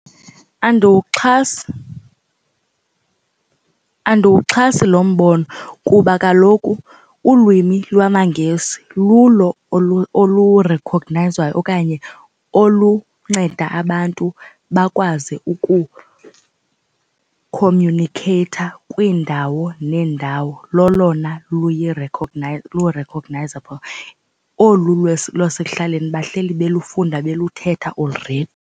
Andiwuxhasi, andiwuxhasi lo mbono kuba kaloku ulwimi lwamaNgesi lulo olurekhognayizwayo okanye olunceda abantu bakwazi ukukhomyunikheyitha kwiindawo neendawo lolona lu-recognizable. Olu lwasekuhlaleni bahleli belufunda beluthetha already.